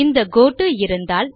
இந்த கோட்டோ இருந்தால்